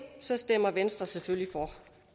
stemmer venstre selvfølgelig